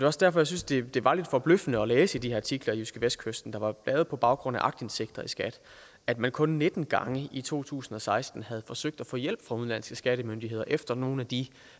også derfor jeg synes det det var lidt forbløffende at læse de artikler i jydskevestkysten der var lavet på baggrund af aktindsigt i skat at man kun nitten gange i to tusind og seksten havde forsøgt at få hjælp fra udenlandske skattemyndigheder efter nogle af de